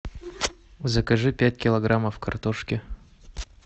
закажи пять килограммов картошки